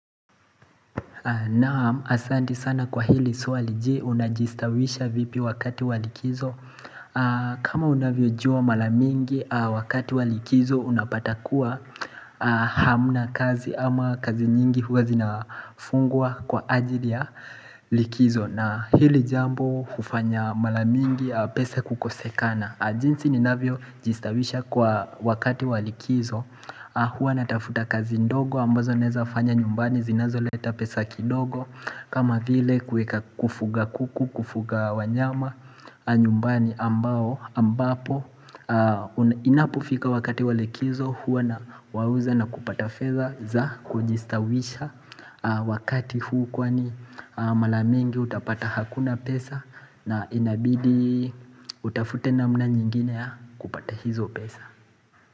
Na asanti sana kwa hili swali je unajistawisha vipi wakati wa likizo kama unavyojua mara mingi wakati wa likizo unapatakua hamna kazi ama kazi nyingi huwa zinafungwa kwa ajili ya likizo na hili jambo hufanya mara mingi pesa kukosekana jinsi ninavyojistawisha kwa wakati wa likizo Huwa natafuta kazi ndogo ambazo naeza fanya nyumbani zinazoleta pesa kidogo kama vile kufuga kuku, kufuga wanyama nyumbani ambao ambapo Inapofika wakati wa likizo huwa na wauza na kupata fedha za kujistawisha Wakati huu kwani mara mingi hutapta hakuna pesa na inabidi utafute namna nyingine kupata hizo pesa.